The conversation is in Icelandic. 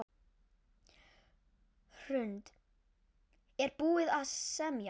Hrund: Er búið að semja?